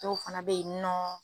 Dɔw fana be yen nɔ.